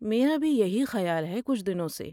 میرا بھی یہی خیال ہے، کچھ دنوں سے۔